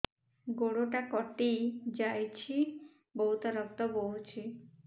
ଗୋଡ଼ଟା କଟି ଯାଇଛି ବହୁତ ରକ୍ତ ବହୁଛି